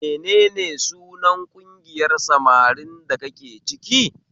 Menene sunan ƙungiyar samarin da kake ciki?